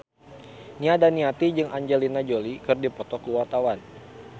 Nia Daniati jeung Angelina Jolie keur dipoto ku wartawan